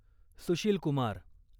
Sushil Kumar